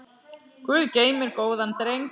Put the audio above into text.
Guð geymir góðan dreng.